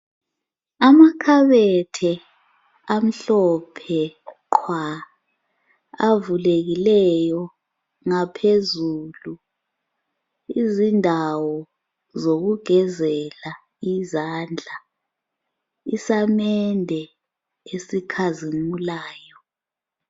Amakhabethe amhlophe qhwa avulekileyo ngaphezulu , izindawo zokugezele izandla, isamende esikhazimulayo